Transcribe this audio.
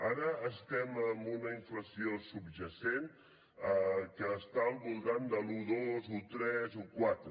ara estem en una inflació subjacent que està al voltant de l’un coma dos un coma tres un coma quatre